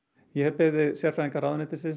ég hef beðið sérfræðinga ráðuneytisins